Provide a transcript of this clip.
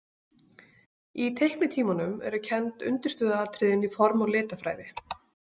Í teiknitímunum eru kennd undirstöðuatriðin í form- og litafræði.